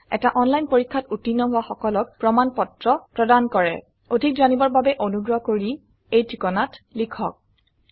এটা অনলাইন পৰীক্ষাত উত্তীৰ্ণ হোৱা সকলক প্ৰমাণ পত্ৰ প্ৰদান কৰে অধিক জানিবৰ বাবে অনুগ্ৰহ কৰি contactspoken tutorialorg এই ঠিকনাত লিখক